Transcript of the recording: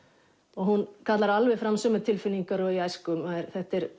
og hún kallar alveg fram sömu tilfinningar og í æsku þetta er